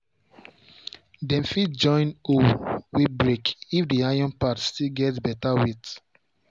dem fit join hoe way break if the iron part still gets beta weight.